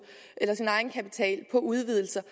eller sin egenkapital på udvidelser